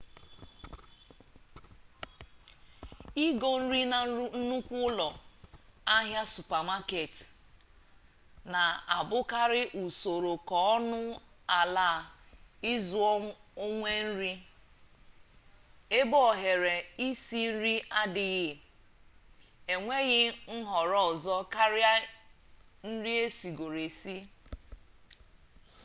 igo nri na nnukwu ụlọ ahịa supamaket na abụkarị usoro ka ọnụ ala ịzụ onwe nri ebe ohere isi nri adịghị enweghị nhọrọ ọzọ karịa nri esigoro esi